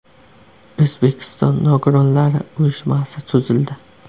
O‘zbekiston nogironlari uyushmasi tuzildi.